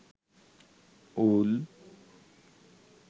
ওল